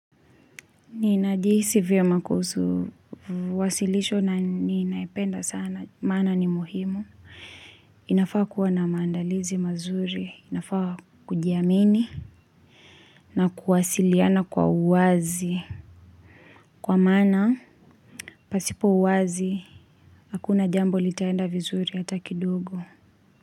Ninajihisi vyema kuhusu, viwasilisho na ninayependa sana, mana ni muhimu. Inafaa kuwa na maandalizi mazuri, inafaa kujiamini na kuwasiliana kwa uwazi. Kwa maana, pasipo uwazi, hakuna jambo litaenda vizuri hata kidogo.